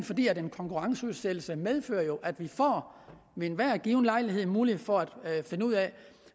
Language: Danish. fordi en konkurrenceudsættelse jo medfører at vi ved enhver given lejlighed får mulighed for at finde ud af